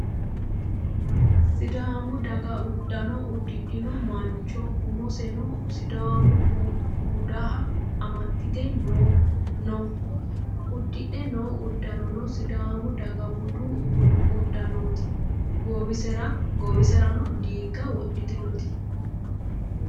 Sidaamu daga uddano udidhino mancho. Umoseno sidaamu budiha amaxite noo. Udidhe no uddanono sidaamu daga budu uddanooti. Goowiserano diigo wodhitinoti.